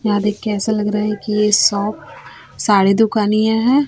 यहाँ देख के ऐसा लग रहा है कि यह शॉप साड़ी दुकान ही है।